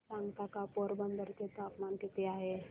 मला सांगता का पोरबंदर चे तापमान किती आहे